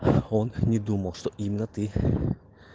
он не думал что именно ты